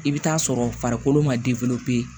I bɛ taa sɔrɔ farikolo ma